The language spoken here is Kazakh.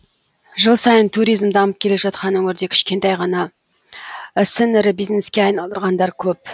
жыл сайын туризм дамып келе жатқан өңірде кішкентай ғана ісін ірі бизнеске айналдырғандар көп